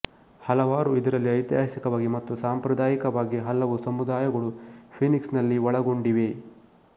ಹಲವಾರು ಇದರಲ್ಲಿ ಐತಿಹಾಸಿಕವಾಗಿ ಮತ್ತು ಸಾಂಪ್ರದಾಯಿಕವಾಗಿ ಹಲವು ಸಮುದಾಯಗಳು ಫೀನಿಕ್ಸ್ ನಲ್ಲಿ ಒಳಗೊಂಡಿವೆ